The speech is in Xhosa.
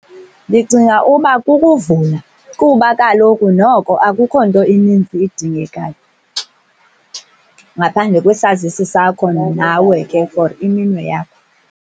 Ndicinga uba kukuvula, kuba kaloku noko akukho nto inintsi idingekayo ngaphandle kwesazisi sakho nawe ke for iminwe yakho.